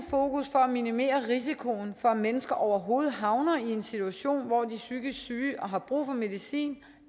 for at minimere risikoen for at mennesker overhovedet havner i en situation hvor de er psykisk syge og har brug for medicin